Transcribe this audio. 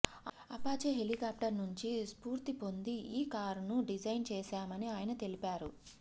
Apache helicopter నుంచి స్ఫూర్తి పొంది ఈ కారును డిజైన్ చేశామని ఆయన తెలిపారు